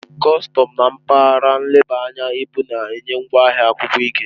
Kọstọm na mpaghara nleba anya ibu na-enye ngwaahịa akwụkwọ ike.